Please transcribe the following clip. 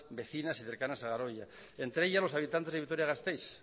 vecinas y cercanas a garoña entre ellas los habitantes de vitoria gasteiz